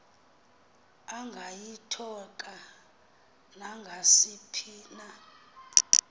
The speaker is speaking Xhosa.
angayithoka nangasiphi na